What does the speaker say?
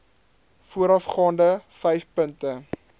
voorafgaande vyf punte